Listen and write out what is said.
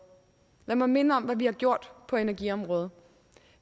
lad mig minde om hvad vi har gjort på energiområdet